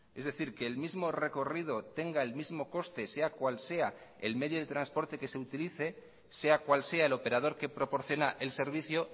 es decir que el mismo recorrido tenga el mismo coste sea cual sea el medio de transporte que se utilice sea cual sea el operador que proporciona el servicio